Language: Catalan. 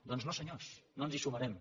doncs no senyors no ens hi sumarem